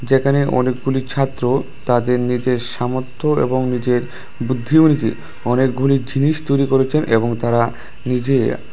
এখানে অনেকগুলি ছাত্র তাদের নিজের সামর্থ্য এবং নিজের বুদ্ধি অনুযায়ী অনেকগুলি জিনিস তৈরি করেছেন এবং তারা নিজে --